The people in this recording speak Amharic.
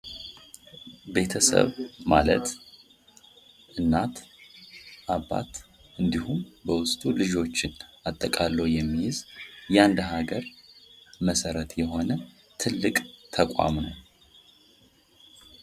ቤተሰብ ማለት፦ እናት፣ አባት እንዲሁም በውስጡ ልጆችን አጠቃሎ የሚይዝ የአንድ ሀገር መሠረት የሆነ ትልቅ ተቋም ነው።